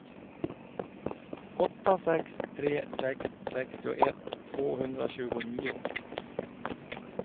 åtta sex tre sex sextioett tvåhundratjugonio